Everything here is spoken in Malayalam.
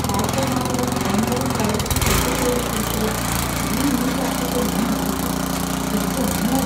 ഹാക്കർമാരുടെ ഓൺലൈൻ പ്രൈവസി തട്ടിപ്പുകളെക്കുറിച്ചുള്ള ഈ ന്യൂസ് ആർട്ടിക്കിൾ ഞാൻ വായിച്ചു. എന്‍റമ്മോ!